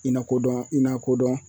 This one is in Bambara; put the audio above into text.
I na ko dɔn i na ko dɔn